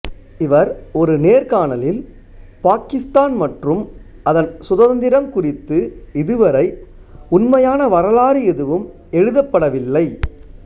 இவர் ஒரு நேர்காணலில் பாகிஸ்தான் மற்றும் அதன் சுதந்திரம் குறித்து இதுவரை உண்மையான வரலாறு எதுவும் எழுதப்படவில்லை